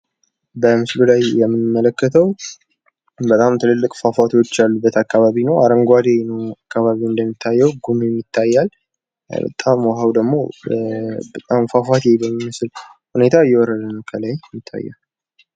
በምስሉ ላይ የምንመለከተው በጣም ትላልቅ ፏፏቴዎች ያሉበት ቦታ ነው። አረንጓኤ አካባቢ ነው እንደሚታየው ፤ ጉምም ይታያል ፣ በጣም ወሃው ደሞ ፏፏቴ በሚመስል መልኩ እየወረደ ይታያል።